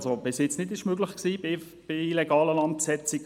etwas, das bisher nicht möglich war bei illegalen Landbesetzungen.